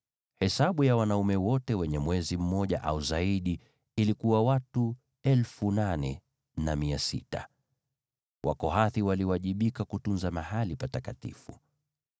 Hesabu ya waume wote wenye mwezi mmoja au zaidi ilikuwa watu 8,600. Wakohathi waliwajibika kutunza mahali patakatifu.